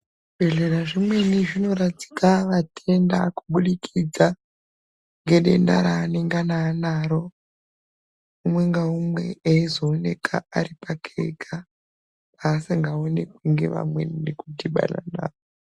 Zvibhedhlera zvimweni zvinoradzika vatenda kuburikidza Ngedenda ranenge anaro umwe naumwe eizooneka ari pake ega asingaoneki nevamweni.